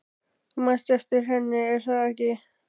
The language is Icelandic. Þú manst eftir henni, er það ekki?